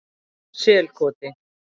Selkoti